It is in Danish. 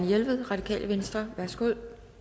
jelved radikale venstre værsgo